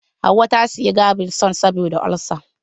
Hauwa ta saya gaviscon saboda ulsa.